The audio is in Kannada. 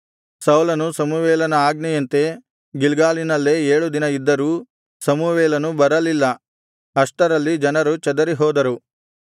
ಸೌಲನು ಸಮುವೇಲನ ಆಜ್ಞೆಯಂತೆ ಗಿಲ್ಗಾಲಿನಲ್ಲೇ ಏಳು ದಿನ ಇದ್ದರೂ ಸಮುವೇಲನು ಬರಲಿಲ್ಲ ಅಷ್ಟರಲ್ಲಿ ಜನರು ಚದರಿಹೋದರು